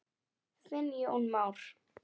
Þinn Jón Már.